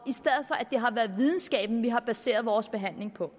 i har været videnskaben vi har baseret vores behandling på